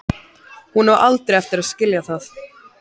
Hún á aldrei eftir að skilja það.